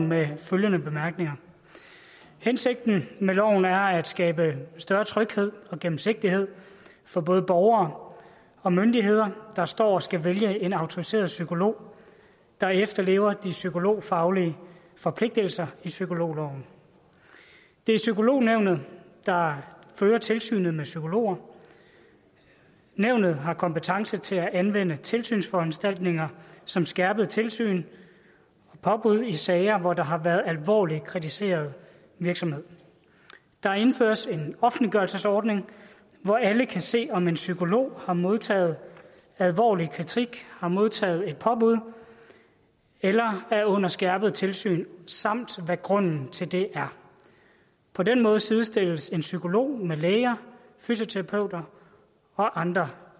med følgende bemærkninger hensigten med loven er at skabe større tryghed og gennemsigtighed for både borgere og myndigheder der står og skal vælge en autoriseret psykolog der efterlever de psykologfaglige forpligtelser i psykologloven det er psykolognævnet der fører tilsynet med psykologer nævnet har kompetence til at anvende tilsynsforanstaltninger som skærpet tilsyn og påbud i sager hvor der har været alvorlig kritiseret virksomhed der indføres en offentliggørelsesordning hvor alle kan se om en psykolog har modtaget alvorlig kritik har modtaget et påbud eller er under skærpet tilsyn samt hvad grunden til det er på den måde sidestilles psykologer med læger fysioterapeuter og andre